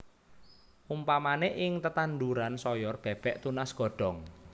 Umpamané ing tetanduran soyor bèbèk tunas godhong